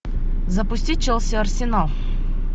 запусти челси арсенал